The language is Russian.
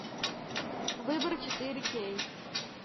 выбор четыре кей